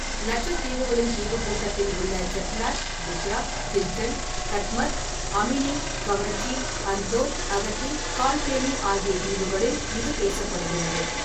லட்சத்தீவுகளின் தீவுக்கூட்டத்தில் உள்ள செட்லட், பித்ரா, கில்டன், கட்மத், அமினி, கவரட்டி , அந்தோத், அகத்தி, கால்பேணி ஆகிய தீவுகளில் இது பேசப்படுகிறது.